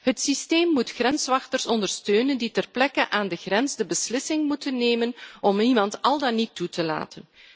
Het systeem moet grenswachters ondersteunen die ter plekke aan de grens de beslissing moeten nemen om iemand al dan niet toe te laten.